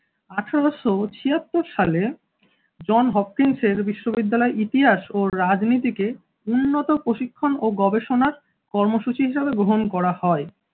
আঠেরোশো ছিয়াত্তর সালে জন হপকিন্স এর বিশ্ববিদ্যালয় ইতিহাস ও রাজনীতিকে উন্নত প্রশিক্ষণ ও গবেষণার কর্মসূচি হিসেবে গ্রহণ করা হয়।